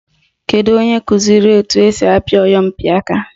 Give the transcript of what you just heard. Kedu onye kụziri etu esi apị oyompịaka?